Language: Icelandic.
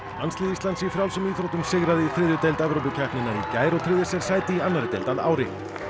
landslið Íslands í frjálsum íþróttum sigraði í þriðju deild Evrópukeppninnar í gær og tryggði sér sæti í annarri deild að ári